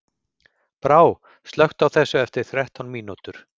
Brá, slökktu á þessu eftir þrettán mínútur.